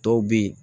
Dɔw bɛ yen